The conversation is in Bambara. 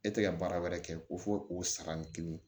E tɛ ka baara wɛrɛ kɛ ko fo o san ni kelen